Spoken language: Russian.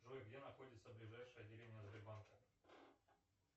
джой где находится ближайшее отделение сбербанка